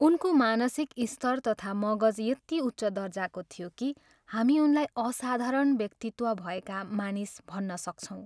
उनको मानसिक स्तर तथा मगज यति उच्च दर्जाको थियो कि हामी उनलाई असाधारण व्यक्तित्व भएका मानिस भन्न सक्छौँ।